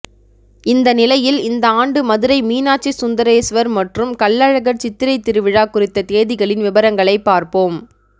இந்த நிலையில் இந்த ஆண்டு மதுரை மீனாட்சி சுந்தரேஸ்வர் மற்றும் கள்ளழகர் சித்திரை திருவிழா குறித்த தேதிகளின் விபரங்களை பார்ப்போம்